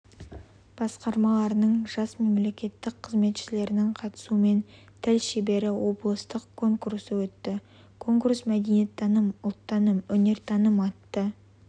басқармаларының жас мемлекеттік қызметшілерінің қатысуымен тіл шебері облыстық конкурсы өтті конкурс мәдениеттаным ұлттаным өнертаным атты